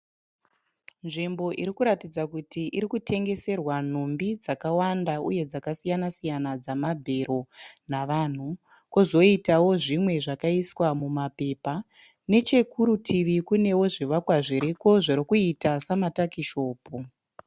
Nzvimbo iri kuratidza kuti iri kutengeserwa nhumbi dzakawanda uye dzakasiyana siyana dzamabhero navanhu kozoitawo zvimwe zvakaiswa mumapepa nechekurutivi kunewo zvivakwa zviriko zvirikuita samatakishopu